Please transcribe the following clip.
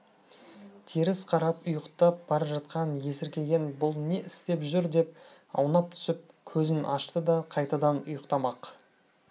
теріс қарап ұйықтап бара жатқан есіркеген бұл не істеп жүр деп аунап түсіп көзін ашты да қайтадан ұйықтамақ